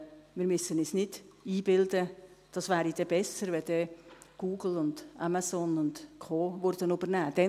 Wir müssen uns nicht einbilden, es wäre dann besser, wenn Google, Amazon und Co. übernehmen würden.